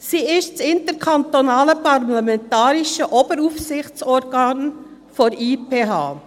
Sie ist das interkantonale parlamentarische Oberaufsichtsorgan der IPH.